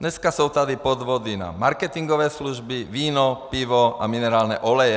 Dneska jsou tady podvody na marketingové služby, víno, pivo a minerální oleje.